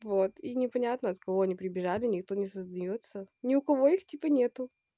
вот и непонятно от кого они прибежали никто не сознается ни у кого их типа нету